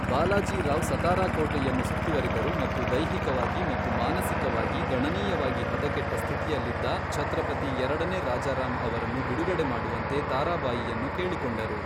ಬಾಲಾಜಿ ರಾವ್ ಸತಾರಾ ಕೋಟೆಯನ್ನು ಸುತ್ತುವರಿದರು ಮತ್ತು ದೈಹಿಕವಾಗಿ ಮತ್ತು ಮಾನಸಿಕವಾಗಿ ಗಣನೀಯವಾಗಿ ಹದಗೆಟ್ಟ ಸ್ಥಿತಿಯಲ್ಲಿದ್ದ ಛತ್ರಪತಿ ಎರಡನೇ ರಾಜಾರಾಮ್ ಅವರನ್ನು ಬಿಡುಗಡೆ ಮಾಡುವಂತೆ ತಾರಾಬಾಯಿಯನ್ನು ಕೇಳಿಕೊಂಡರು.